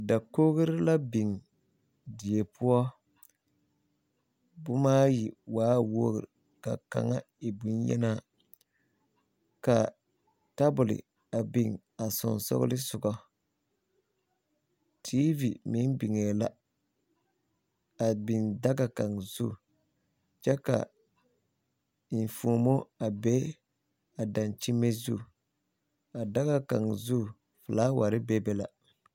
Dakogri la biŋ die poɔ boma ayi waa wogri ka kaŋa e boŋyenaa ka tabol a biŋ a sensɔglensɔga tiivi meŋ biŋee la a biŋ daga kaŋa zu kyɛ ka enfuomo a be a dakyeme zu a daga kaŋa zu filaware bebe la